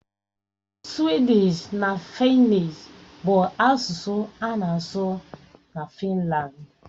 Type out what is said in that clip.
Suwịdịsh na Fịnnịsh bụ asụsụ a na-asụ na Finlandi.